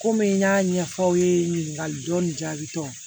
Komi n y'a ɲɛfɔ aw ye ɲininkali dɔ nin jaabi t'o la